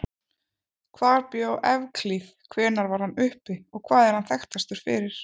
Hvar bjó Evklíð, hvenær var hann uppi og hvað er hann þekktastur fyrir?